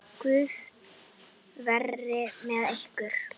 Guð veri með ykkur.